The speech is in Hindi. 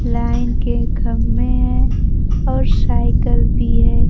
लाइन के खम्मे है और साइकल भी है।